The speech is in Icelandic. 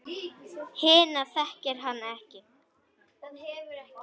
Hina þekkir hann ekki.